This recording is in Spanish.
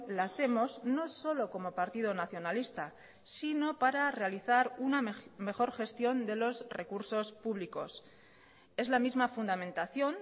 la hacemos no solo como partido nacionalista sino para realizar una mejor gestión de los recursos públicos es la misma fundamentación